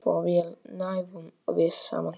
Svo vel náðum við saman.